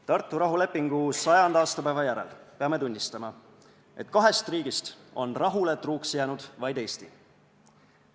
Tartu rahulepingu 100. aastapäeva järel peame tunnistama, et kahest riigist on rahule truuks jäänud vaid Eesti.